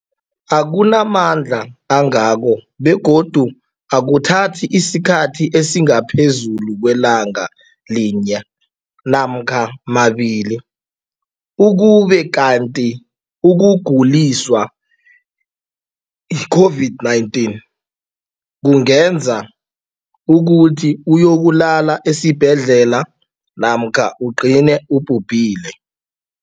akuna mandla angako begodu akuthathi isikhathi esingaphezulu kwelanga linye namkha mabili, ukube kanti ukuguliswa yi-COVID-19 kungenza ukuthi uyokulala esibhedlela namkha ugcine ubhubhile.